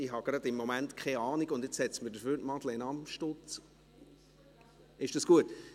Dafür wird mir jetzt Madeleine Amstutz angezeigt.